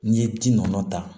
N'i ye ji nɔ ta